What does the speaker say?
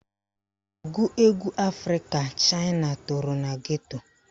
Ọgụ egwu Afrịka Chaịna toro na geto